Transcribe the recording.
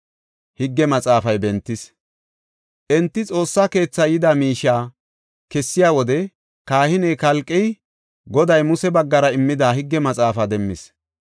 Enti Xoossa keethaa yida miishiya kessiya wode kahiney Kalqey Goday Muse baggara immida higge maxaafaa demmis.